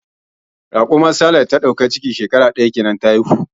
Raƙumar Sale da ta dauki ciki shekara daya kenan ta haihu jiya.